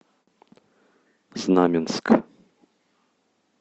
знаменск